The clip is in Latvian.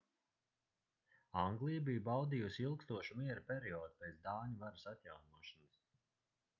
anglija bija baudījusi ilgstošu miera periodu pēc dāņu varas atjaunošanas